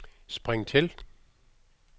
spring til